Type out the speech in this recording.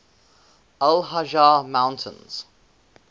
al hajar mountains